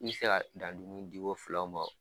I bi se ka dan dumuni di ko filaw ma o